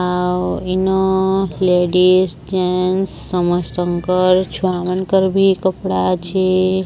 ଆଉ ଇନୋ ladies gents ସମସ୍ତଙ୍କର ଛୁଆମାଙ୍କର ଭି କପଡା ଅଛି।